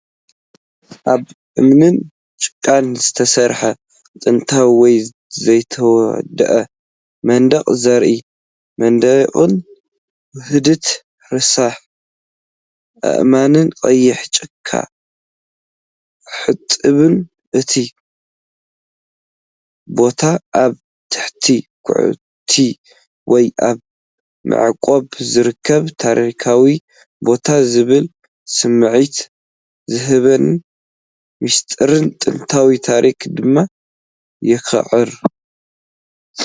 ካብ እምንን ጭቃን ዝተሰርሐ ጥንታዊ ወይ ዘይተወድአ መንደቕ ዘር፣ መናድቕ ውህደት ረሳሕ ኣእማንን ቀይሕ ጭቃ ሕጡብን እዩ። እቲ ቦታ ኣብ ትሕቲ ኳዕቲ ወይ ኣብ ምዕቃብ ዝርከብ ታሪኻዊ ቦታ ዝብል ስምዒት ዝህብን ምስጢርን ጥንታዊ ታሪኽን ድማ የኹርዕ፡፡